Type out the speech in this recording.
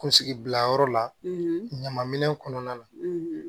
Kunsigi bila yɔrɔ la ɲaman minɛn kɔnɔna na